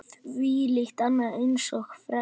Þvílíkt og annað eins frelsi!